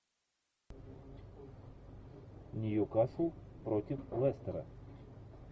ньюкасл против лестера